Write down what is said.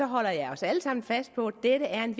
holder jeg os alle sammen fast på at dette er